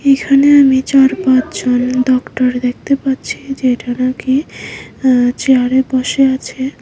এখানে আমি চার পাঁচ জন ডক্টর দেখতে পাচ্ছি যেটা নাকি আ চেয়ারে বসে আছে।